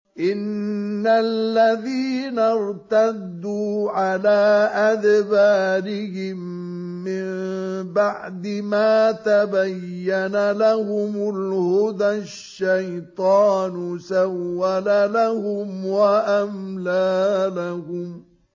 إِنَّ الَّذِينَ ارْتَدُّوا عَلَىٰ أَدْبَارِهِم مِّن بَعْدِ مَا تَبَيَّنَ لَهُمُ الْهُدَى ۙ الشَّيْطَانُ سَوَّلَ لَهُمْ وَأَمْلَىٰ لَهُمْ